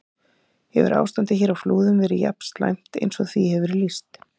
Hefur ástandið hér á Flúðum verið jafn slæmt eins og því hefur verið lýst?